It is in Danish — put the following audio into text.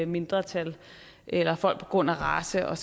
mindretal eller folk på grund af race og